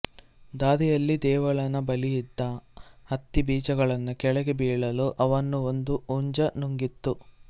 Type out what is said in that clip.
ದಾರಿಯಲ್ಲಿ ದೇವಲನ ಬಳಿಯಿದ್ದ ಹತ್ತಿ ಬೀಜಗಳನ್ನು ಕೆಳಗೆ ಬೀಳಲು ಅವನ್ನು ಒಂದು ಹುಂಜ ನುಂಗಿತು